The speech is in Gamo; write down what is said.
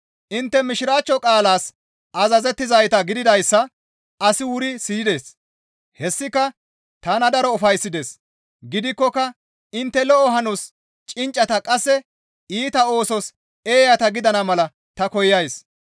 Intte mishiraachcho qaalas azazettizayta gididayssa asi wuri siyides; hessika tana daro ufayssides; gidikkoka intte lo7o hanos cinccata qasse iita oosos eeyata gidana mala ta koyays.